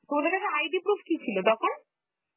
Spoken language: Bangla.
তোমাদের কাছে ID proof কি ছিল তখন?